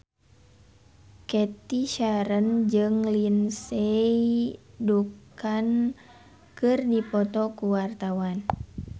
Cathy Sharon jeung Lindsay Ducan keur dipoto ku wartawan